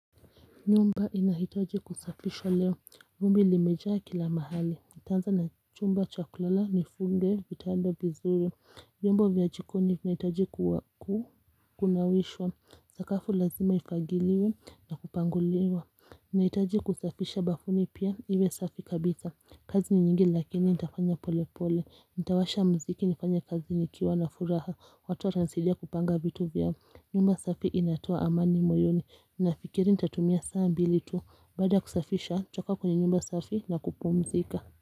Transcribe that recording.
Nyumba inahitaji kusafishwa leo vumbi limejaa kila mahali nitaanza na chumba cha kulala nifunge kitanda vizuri vyombo vya jikoni vinahitaji kunawishwa.sakafu lazima ifagiliwe na kupanguliwa nahitaji kusafisha bafuni pia iwe safi kabisa kazi ni nyingi lakini nitafanya pole pole. Nitawasha muziki nifanye kazi nikiwa na furaha. Watu watanisidia kupanga vitu vyangu nyumba safi inatoa amani moyoni Nafikiri nitatumia saa mbili tu Baada kusafisha, nitakaa kwenye nyumba safi na kupumzika.